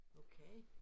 Okay